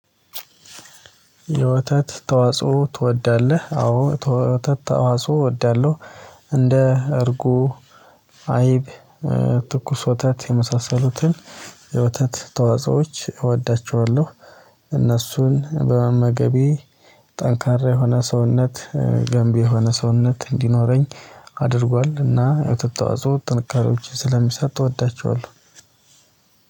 የወተት ተዋጽኦ ትወዳለህ? አዎ የወተት ተዋጽኦ እወዳለሁ። እንደ እርጎ አይብ ትኩስ ወተት የመሳሰሉትን። የወተት ተዋጾዎች እወዳቸዋለሁ። እነሱን በመመገቤ ጠንካራ የሆነ ሰውነት ገንቢ የሆነ ሰውነት እንዲኖረኝ አድርጓል። እና የወተት ተዋጽኦ ጥንካሬዎችን ስለሚሰጥ እወዳቸዋለሁ።